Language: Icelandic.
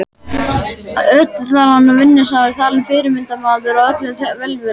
Ötull var hann og vinnusamur talinn fyrirmyndarmaður og öllum velviljaður.